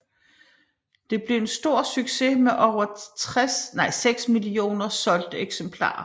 Det blev en stor succes med over 6 millioner solgte eksemplarer